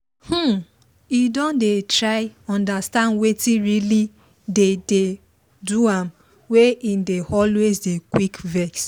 um e don dey try understand wetin really dey dey do am wey e dey always dey quick vex